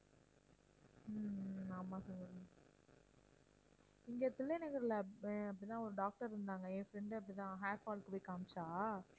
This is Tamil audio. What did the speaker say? ஹம் ஹம் ஆமாம் சங்கவி இங்க தில்லைநகர்ல அப்~ அப்படித்தான் ஒரு doctor இருந்தாங்க என் friend அப்படித்தான் hair fall க்கு போயி காமிச்சா